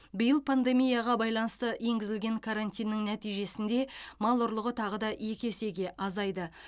биыл пандемияға байланысты енгізілген карантинның нәтижесінде мал ұрлығы тағы да екі есеге азайды